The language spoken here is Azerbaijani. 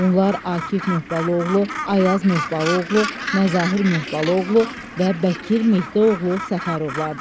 Bunlar Akif Möhbalıoğlu, Ayaz Möhbalıoğlu, Məzahir Möhbalıoğlu və Bəkir Mehdi oğlu Səfərovlardır.